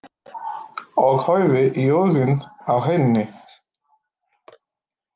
Og horfi í augun á henni.